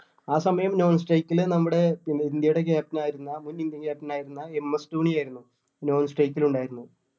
ആ സമയം non strike ല് നമ്മുടെ പിന്നെ ഇന്ത്യടെ captain ആയിരുന്ന മുൻ Indian captain ആയിരുന്ന എം എസ് ധോണി ആയിരുന്നു non strike ലുണ്ടായിരുന്നത്